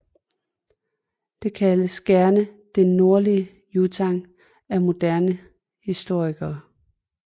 Det kaldes gerne Det nordlige Yuán af moderne historikere